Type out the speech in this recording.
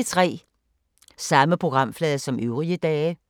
Samme programflade som øvrige dage